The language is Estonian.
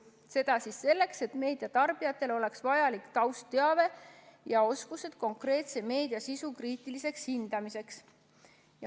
Seda selleks, et meediatarbijatel oleks vajalik taustteave ja oskused konkreetse meediasisu kriitiliseks hindamiseks.